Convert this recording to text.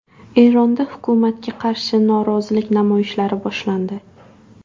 Eronda hukumatga qarshi norozilik namoyishlari boshlandi.